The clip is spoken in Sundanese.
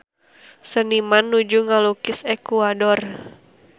Seniman nuju ngalukis Ekuador